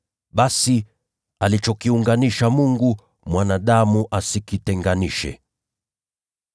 Basi, alichokiunganisha Mungu, mwanadamu asikitenganishe.”